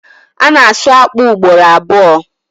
A na-asu akpụ ugboro abụo.